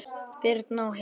Birna og Hilmar.